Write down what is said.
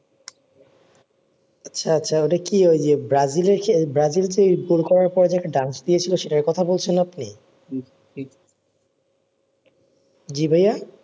আচ্ছা আচ্ছা ওটা কি ওই যে ব্রাজিলের সেল ব্রাজিল যে গোল করার পরে যে dance দিয়েছিলো সেটার কথা বলছে আপনি জ্বি ভাইয়া